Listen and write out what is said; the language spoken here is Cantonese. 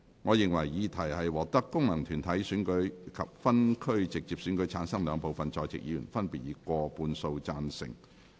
我認為議題獲得經由功能團體選舉產生及分區直接選舉產生的兩部分在席議員，分別以過半數贊成。